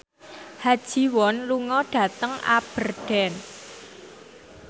Ha Ji Won lunga dhateng Aberdeen